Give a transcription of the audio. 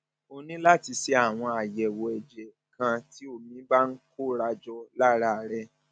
o ní láti ṣe àwọn àyẹwò ẹjẹ kan tí omi bá ń kóra jọ lára rẹ